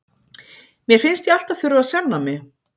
Mér finnst ég alltaf þurfa að sanna mig.